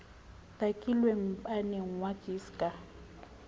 takilwe mmapeng wa gis ka